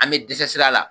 An bɛ dɛsɛ sira la